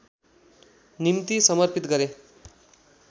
निम्ति समर्पित गरे